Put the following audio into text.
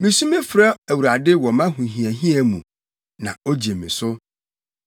Misu frɛ Awurade wɔ mʼahohiahia mu, na ogye me so.